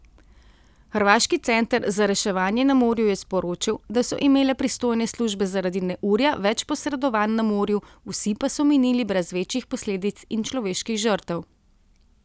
Hrvaški center za reševanje na morju je sporočil, da so imele pristojne službe zaradi neurja več posredovanj na morju, vsi pa so minili brez večjih posledic in človeških žrtev.